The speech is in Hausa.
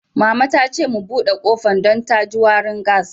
Mama ta ce mu bude kofan dan da ji warin gas.